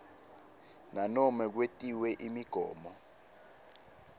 nanobe kwetiwe imigomo